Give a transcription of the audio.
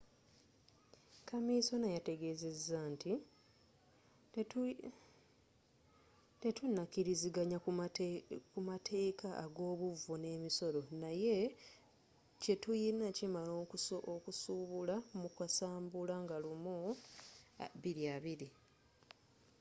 kaminsona yategezeza nti tetunakiriziganya kumateeka agobuvo nemisolo, naye kyetuyina kimala okusuubula mu kasambula 1 2020